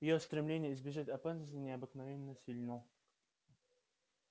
его стремление избежать опасности необыкновенно сильно